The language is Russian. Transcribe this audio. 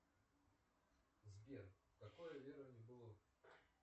сбер какое верование было